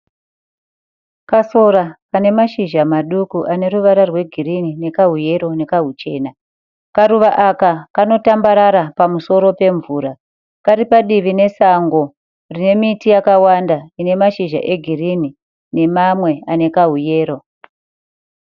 Kasora kane mashizha madoko ane ruvara rwegirini nekahuyero nekahuchena. Karuva aka kanotambarara pamusoro pemvura. Kari padivi nesango rine miti yakawanda ine mashizha egirini nemamwe ane kahuyero.